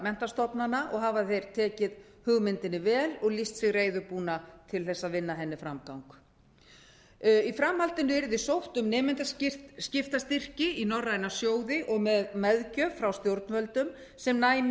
menntastofnana og hafa þeir tekið hugmyndinni vel og lýst sig reiðubúna til þess að vinna henni framgang í framhaldinu yrði sótt um nemendaskiptastyrki í norræna sjóði og meðgjöf frá stjórnvöldum sem næmi